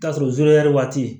Ka sɔrɔ waati